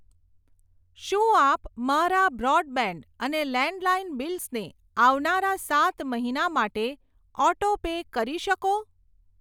શું આપ મારા બ્રોડબેન્ડ અને લેન્ડલાઈન બિલ્સને આવનારા સાત મહિના માટે ઓટો પે કરી શકો?